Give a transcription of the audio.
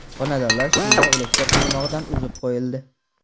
Xonadonlar suv va elektr tarmog‘idan uzib qo‘yildi.